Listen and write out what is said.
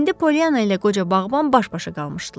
İndi Polyanna ilə qoca bağban baş-başa qalmışdılar.